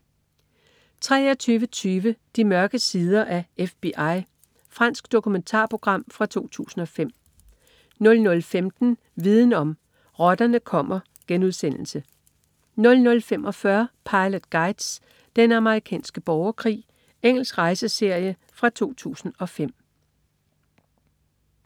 23.20 De mørke sider af FBI. Fransk dokumentarprogram fra 2005 00.15 Viden om: Rotterne kommer* 00.45 Pilot Guides: Den amerikanske borgerkrig. Engelsk rejseserie fra 2005